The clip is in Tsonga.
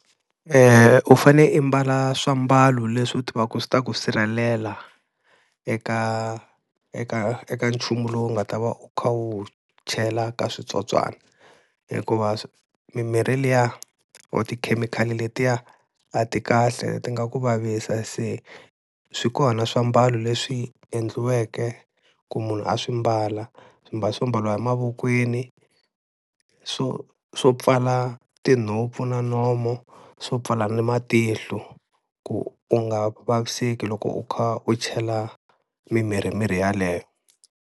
U fane imbala swiambalo leswi u tivaku swi ta ku sirhelela eka eka, eka nchumu lowu nga ta va u kha u wu chela ka switsotswana. Hikuva mimirhi liya or tikhemikhali letiya a ti kahle ti nga ku vavisa, se swi kona swiambalo leswi endliweke ku munhu a swi mbala swimbalo swo mbariwa emavokweni, swo swo pfala tinhompfu na nomo swo pfala na matihlo ku u nga vaviseki loko u kha u chela mimirhi mirhi yaleyo.